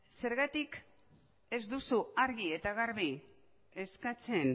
zergatik ez duzu argi eta garbi eskatzen